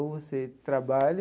Ou você trabalha,